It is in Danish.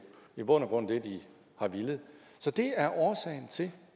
i bund og grund det de har villet så det er årsagen til